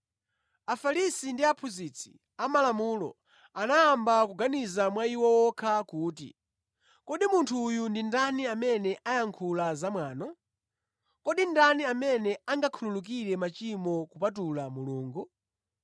Afarisi ndi aphunzitsi amalamulo anayamba kuganiza mwa iwo okha kuti, “Kodi munthu uyu ndi ndani amene ayankhula zamwano? Kodi ndani amene angakhululukire machimo kupatula Mulungu?”